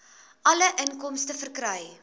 alle inkomste verkry